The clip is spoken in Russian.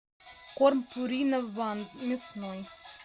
корм пурина ван мясной